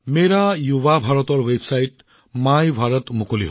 মোৰ যুৱ ভাৰতৰ ৱেবছাইট MYBharatও মুকলি হবলৈ ওলাইছে